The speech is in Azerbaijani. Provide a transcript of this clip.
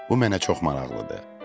Bu mənə çox maraqlıdır.